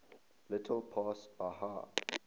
little past bahia